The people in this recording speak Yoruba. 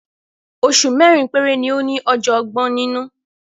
Oṣù mẹ́rin péré ni ó ní ọjọ́ ọgbọ̀n nínú.